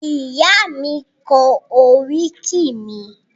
Ìyá mi kọ oríkì mi.